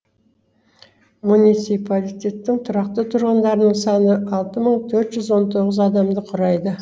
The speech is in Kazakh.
муниципалитеттің тұрақты тұрғындарының саны алты мың төрт жүз он тоғыз адамды құрайды